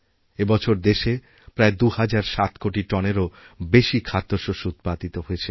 এই বছর দেশে প্রায়দুহাজার সাত কোটি টনেরও বেশি খাদ্যশস্য উৎপাদিত হয়েছে